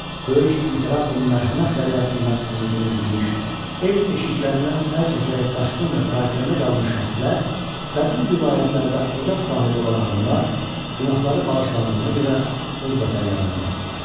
Böyük İmperatorun mərhəmət dəryasından ümidini üzmüş, ev eşiklərindən əl çəkərək qaçqın və pərakəndə qalmış şəxslər və bu vilayətlərdə ocaq sahibi olan adamlar günahları bağışlandığına görə öz vətənlərinə qayıtdılar.